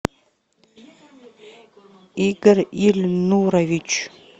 игорь ильнурович